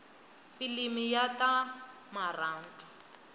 filimi ya ta marhandu